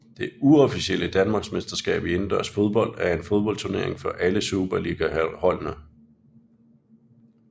Det uofficielle Danmarksmesterskab i Indendørs fodbold er en fodboldturnering for alle Superligaholdene